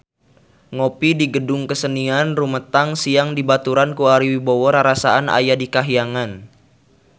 Ngopi di Gedung Kesenian Rumetang Siang dibaturan ku Ari Wibowo rarasaan aya di kahyangan